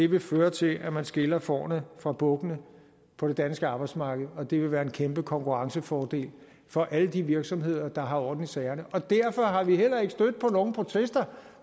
vil føre til at man skiller fårene fra bukkene på det danske arbejdsmarked og det vil være en kæmpe konkurrencefordel for alle de virksomheder der har orden i sagerne og derfor er vi heller ikke stødt på nogen protester